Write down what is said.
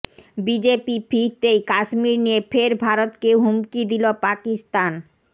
BJP ফিরতেই কাশ্মীর নিয়ে ফের ভারতকে হুমকি দিল পাকিস্তান